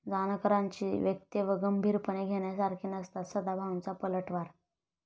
जानकरांची वक्तव्यं गंभीरपणे घेण्यासारखी नसतात, सदाभाऊंचा पलटवार